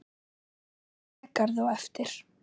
Kaffi í Végarði á eftir.